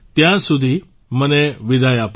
ત્યાં સુધી મને વિદાય આપો